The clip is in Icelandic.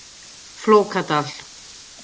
Flókadal